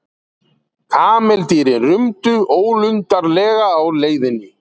Kameldýrin rumdu ólundarlega á leiðinni.